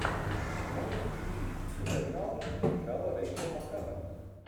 можешь включить капернаум где играла рэйчел макадамс